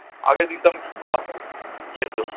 আগে দিতাম কী খাওয়াতাম, খেত